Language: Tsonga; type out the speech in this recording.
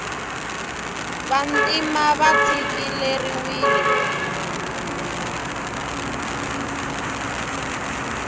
vantima va tshikileriwile